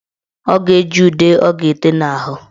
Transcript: Ọ ga-eji ude ọ ga-ete n' ahụ.